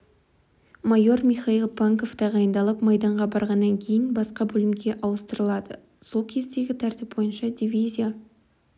майор михаил панков тағайындалып майданға барғаннан кейін басқа бөлімге ауыстырылады сол кездегі тәртіп бойынша дивизия